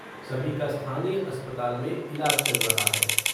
सभी का स्थानीय अस्पताल में इलाज चल रहा है।